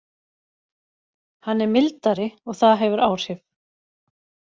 Hann er mildari og það hefur áhrif.